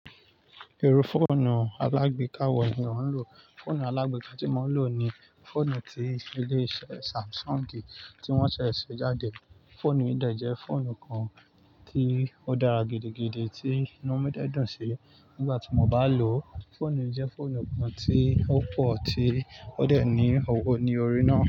Irú fóònù alágbe káwò ni ń lò? Fóònù alágbe tí mo ń lò ni fóònù tí ilé-iṣẹ́ Samsung ni tí wọ́n ṣẹ̀ ṣe jáde. Fóònù yìí dẹ̀ jẹ́ fóònù kan tí ó dára gidigidi tí inú mi dẹ́ dùn sí nígbà tí mo bá lò ó. Fóònù yìí jẹ́ fóònù kan tí ó pọ̀ tí ó dẹ̀ ní ọwọ́ ní orí náà.